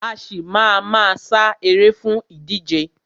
A ṣì má a ma sá eré fún ìdíje.